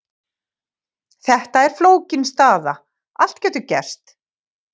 Þetta er flókin staða, allt getur gerst.